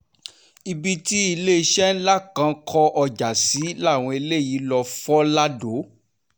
ibi tí iléeṣẹ́ ńlá kan kó ọjà sí làwọn eléyìí lóò fọ́ lado